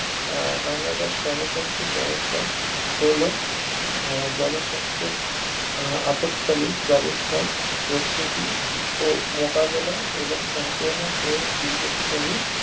আহ Canada শোন সাস্থ সমস্থা পোলো আহ অপত কালীন ব্যবস্থা প্রস্তুতি ও মোকাবিলা এবং সংক্রমক ও দীর্ঘ স্থায়ী